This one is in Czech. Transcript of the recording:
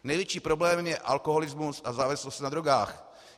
Největším problémem je alkoholismus a závislosti na drogách.